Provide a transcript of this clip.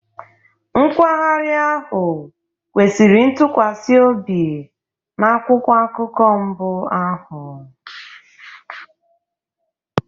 Nkwagharị ahụ kwesịrị ntụkwasị obi na akwụkwọ akụkọ mbụ ahụ.